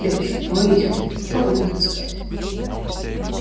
девочки помогите мне а потом будем танцевать